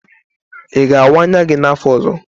Ị ga-awaa anya gi n'afọ ọzọ?